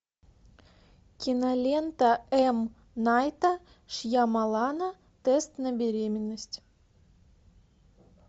кинолента эм найта шьямалана тест на беременность